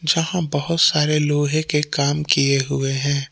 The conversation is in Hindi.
यहां बहुत सारे लोहे के काम किए हुए हैं।